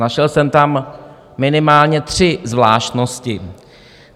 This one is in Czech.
Našel jsem tam minimálně tři zvláštnosti.